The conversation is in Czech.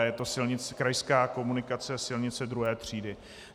A je to krajská komunikace, silnice 2. třídy.